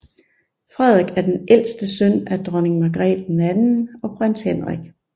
Frederik er den ældste søn af Dronning Margrethe II og Prins Henrik